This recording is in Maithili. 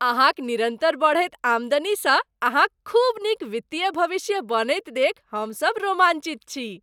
अहाँक निरन्तर बढ़ैत आमदनीसँ अहाँक खूब नीक वित्तीय भविष्य बनैत देखि हमसभ रोमांचित छी।